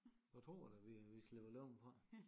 Jeg tror da vi vi slipper levende fra det